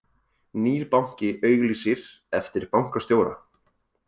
Nýr banki auglýsir eftir bankastjóra